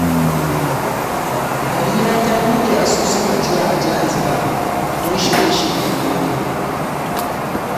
Harira ta bude asusun ajiya a Jaiz Bank don shirye-shiryen aure.